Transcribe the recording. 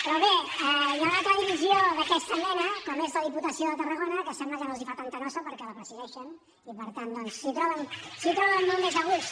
però bé hi ha una altra divisió d’aquesta mena com és la diputació de tarragona que sembla que no els fa tanta nosa perquè la presideixen i per tant s’hi troben molt més a gust